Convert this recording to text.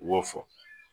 U y'o fɔ